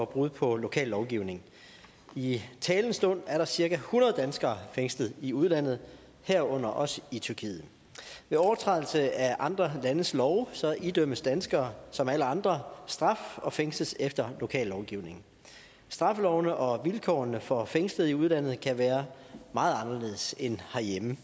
brud på lokal lovgivning i talende stund er der cirka hundrede danskere fængslet i udlandet herunder også i tyrkiet ved overtrædelse af andre landes love idømmes danskere som alle andre straf og fængsles efter lokal lovgivning straffelovene og vilkårene for fængslede i udlandet kan være meget anderledes end herhjemme